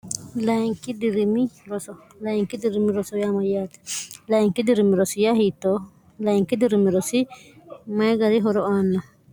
linki dirimi roolainki dirimi roso yamyaati layinki dirimirosi ya hiito layinki dirimirosi mayi gari horo aanna